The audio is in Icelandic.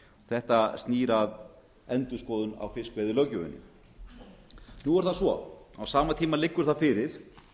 þetta snýr að endurskoðun á fiskveiðilöggjöfinni nú er það svo að á sama tíma liggur það fyrir